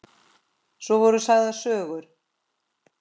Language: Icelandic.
Svo voru sagðar sögur.